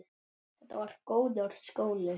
Þetta var góður skóli.